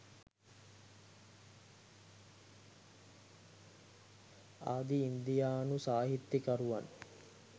ආදි ඉන්දියානු සාහිත්‍යකරුවන්